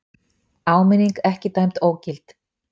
Áminning ekki dæmd ógild